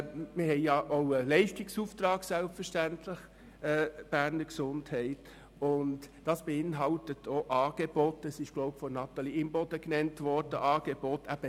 Wir haben als Beges selbstverständlich auch einen Leistungsauftrag, der auch niederschwellige Angebote beinhaltet, wie Natalie Imboden bereits gesagt hat.